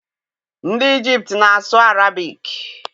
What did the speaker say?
Ndị Ijipt na-asụ Arabic.